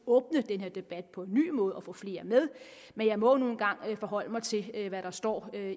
åbne den her debat på en ny måde og få flere med men jeg må nu engang forholde mig til hvad der står